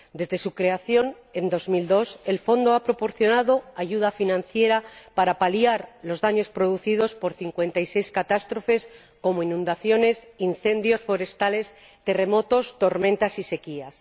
Desde su creación en 2002, el Fondo ha proporcionado ayuda financiera para paliar los daños producidos por 56 catástrofes, como inundaciones, incendios forestales, terremotos, tormentas y sequías.